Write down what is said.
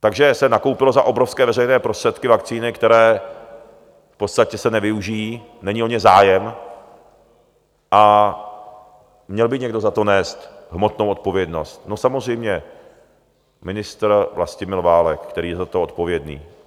Takže se nakoupily za obrovské veřejné prostředky vakcíny, které v podstatě se nevyužijí, není o ně zájem, a měl by někdo za to nést hmotnou odpovědnost - no, samozřejmě ministr Vlastimil Válek, který je za to odpovědný.